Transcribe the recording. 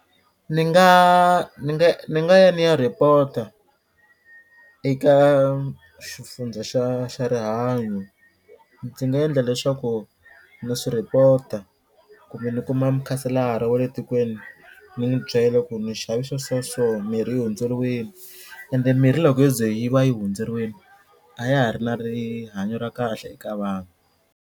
Ni nga ni nga ni nga ya ni ya report-a eka xifundza xa xa rihanyo ndzi nga endla leswaku na swi report-a kumbe ni kuma mukhanselara wa le tikweni ni n'wi byela ku ni xavisa swa so mirhi yi hundzeriwini ende mirhi loko yo ze yi va yi hundzeriwini a ya ha ri na rihanyo ra kahle eka vanhu.